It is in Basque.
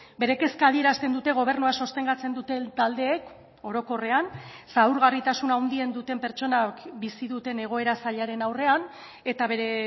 bere kezka adierazten dute gobernua sostengatzen duten taldeek orokorrean zaurgarritasun handien duten pertsonak bizi duten egoera zailaren aurrean eta bere